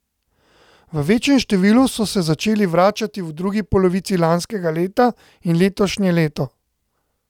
V večjem številu so se začeli vračati v drugi polovici lanskega leta in letošnje leto.